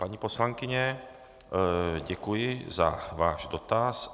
Paní poslankyně, děkuji za váš dotaz.